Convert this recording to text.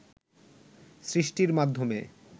সৃষ্টির মাধ্যমে